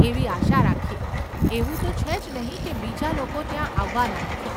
એવી આશા રાખીએ, એવું તો છે જ નહીં કે બીજા લોકો ત્યાં આવવાના નથી.